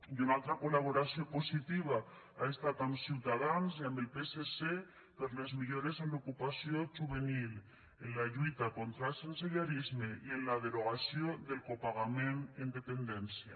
i una altra col·laboració positiva ha estat amb ciutadans i amb el psc per a les millores en l’ocupació juvenil en la lluita contra el sensellarisme i en la derogació del copagament en dependència